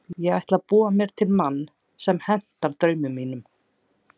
Ég ætlaði að búa mér til mann sem hentaði draumum mínum.